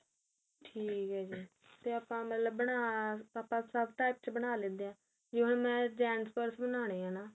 ਠੀਕ ਏ ਜੀ ਤੇ ਆਪਾਂ ਮਤਲਬ ਬਣਾ ਆਪਾਂ ਸਭ type ਚ ਬਣਾ ਲੈਂਦੇ ਆ ਮੈਂ gents purse ਬਣਾਨੇ ਏ ਨਾ